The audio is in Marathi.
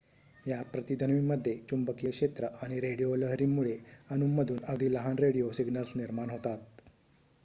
या प्रतिध्वनीमध्ये चुंबकीय क्षेत्र आणि रेडिओ लहरींमुळे अणूंमधून अगदी लहान रेडिओ सिग्नल्स निर्माण होतात